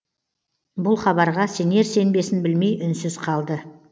бұл хабарға сенер сенбесін білмей үнсіз қалды